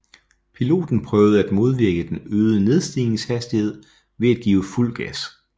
Piloten prøvede at modvirke den øgede nedstigningshastighed ved at give fuld gas